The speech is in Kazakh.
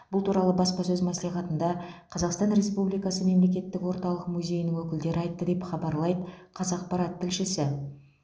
бұл туралы баспасөз мәслихатында қазақстан республикасы мемлекеттік орталық музейінің өкілдері айтты деп хабарлайды қазақпарат тілшісі